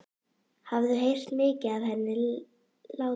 Hafði heyrt mikið af henni látið.